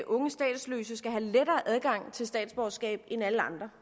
unge statsløse skal have lettere adgang til statsborgerskab end alle andre